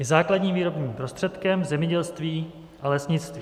Je základním výrobním prostředkem v zemědělství a lesnictví.